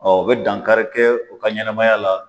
u bɛ dankari kɛ u ka ɲanamaya la.